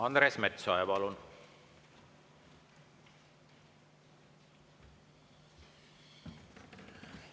Andres Metsoja, palun!